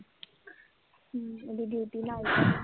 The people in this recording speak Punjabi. ਹੂੰ, ਓਹਦੀ ਡਿਊਟੀ ਨਾਈਟ